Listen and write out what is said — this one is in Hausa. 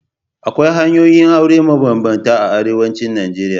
Akwai hanyoyin yin aure mabambanta a arewacin Najeriya.